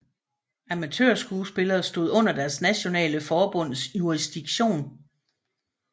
Amatørspillere stod under deres nationale forbunds jurisdiktion